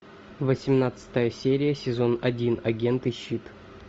восемнадцатая серия сезон один агенты щит